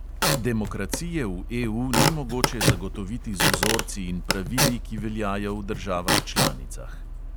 Demokracije v EU ni mogoče zagotoviti z vzorci in pravili, ki veljajo v državah članicah.